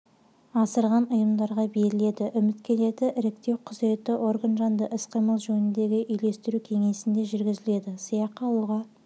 асырған ұйымдарға беріледі үміткерлерді іріктеу құзыретті орган жанындағы іс-қимыл жөніндегі үйлестіру кеңесінде жүргізіледі сыйақы алуға